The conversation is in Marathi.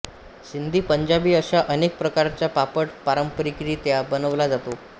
सिंधी पंजाबी अशा अनेक प्रकारचा पापड पारंपारीकरित्या बनवला जातो